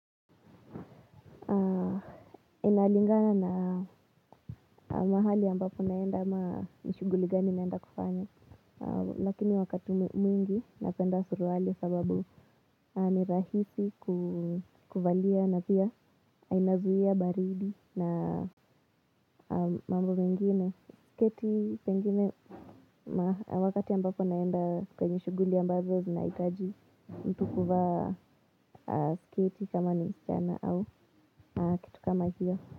Inalingana na mahali ambapo naenda ama ni shughuli gani naenda kufanya. Lakini wakati mwingi napenda suruali kwa sababu ni rahisi kuvalia na pia inazuia baridi na mambo mengine. Keti pengine wakati ambapo naenda kwenye shughuli ambazo zinahitaji mtu kuvaa sketi kama ni msichana au kitu kama hiyo.